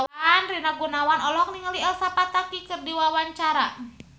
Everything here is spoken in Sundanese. Rina Gunawan olohok ningali Elsa Pataky keur diwawancara